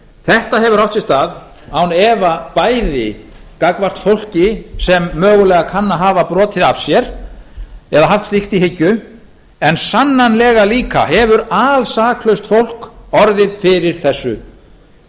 þetta hefur átt sér stað án efa bæði gagnvart fólki sem mögulega kann að hafa brotið af sér eða haft slíkt í hyggju en sannanlega líka hefur alsaklaust fólk orðið fyrir þessu